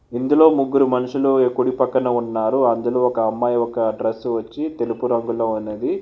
ఇందులో ముగ్గురు మనుషులు యో కుడి పక్కన ఉన్నారు అందులో ఒక అమ్మాయి ఒక డ్రస్ వచ్చి తెలుపు రంగులో అన్నది.